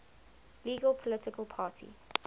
legal political party